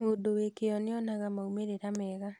Mũndũ wĩ kĩo nĩonaga maumĩrĩra mega